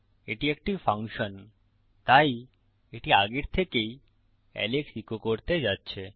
এটি একটি ফাংশন তাই এটি আগের থেকেই এলেক্স ইকো করতে যাচ্ছে